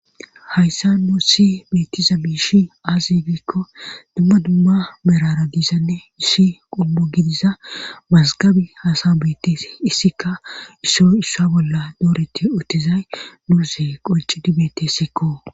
Hayssa nuu si beetiza mishi aazigikko dumma dumma merara giisanne issi qommu gidiza mazgabi hasa beettees issikka isso issa bolla dooreti uttizay nuuse qonci di beettessikko.